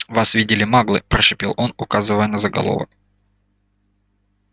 вас видели маглы прошипел он указывая на заголовок